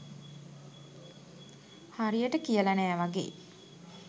හරියට කියල නෑ වගේ.